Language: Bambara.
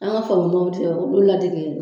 An ka olu ladege.